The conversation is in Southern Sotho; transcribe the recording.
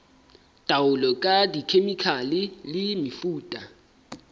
taolo ka dikhemikhale le mefuta